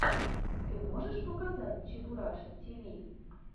ты можешь показать чебураша тиви